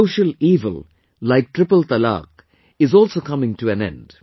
A social evil like triple talaq is also coming to an end